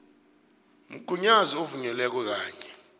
mgunyazi ovunyelweko kanye